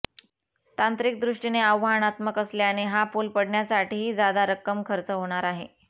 तांत्रिकदृष्टीने आव्हानात्मक असल्याने हा पूल पाडण्यासाठीही जादा रक्कम खर्च होणार आहे